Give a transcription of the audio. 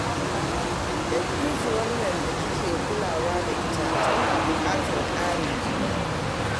Dattijuwar nan da kike kulawa da ita, tana buƙatar ƙarin jini